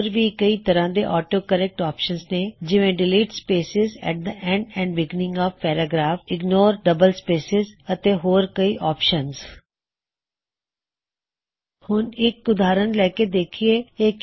ਹੋਰ ਵੀ ਕਈ ਤਰ੍ਹਾਂ ਦੇ ਆਟੋ ਕਰੇਕ੍ਟ ਆਪਸ਼ਨਜ਼ ਨੇ ਜਿਵੇ delete spaces at the end and beginning of paragraph delete ਸਪੇਸਾਂ A T the end and beginning O F paragraph paragraph ਦੇ ਸ਼ੁਰੂਆਤ ਅਤੇ ਅੰਤ ਤੋ ਸਪੇਸਿਜ਼ ਕੱਡੋ ਇਗਨੋਰ ਡਅੱਬਲ ਸਪੇਸਿਸ ਅਤੇ ਹੋਰ ਕਈ ਆਪਸ਼ਨਜ਼